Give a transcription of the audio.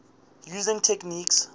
using techniques